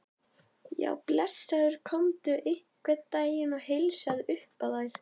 Já, blessaður komdu einhvern daginn og heilsaðu upp á þær.